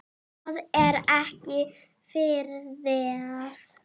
Það er ekki friðað.